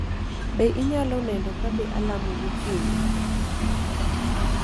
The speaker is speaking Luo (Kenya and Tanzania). Be inyalo neno kabe alamo gokinyi?